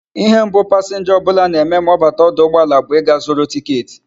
Ihe mbu passenger obula na eme ma obata na oduugboala obula bu iga zuru ticket